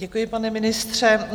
Děkuji, pane ministře.